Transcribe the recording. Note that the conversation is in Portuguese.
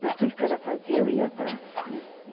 Mas tudo que ela fazia, eu ia atrás. né